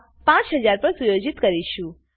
5000 પર સુયોજિત કરીશું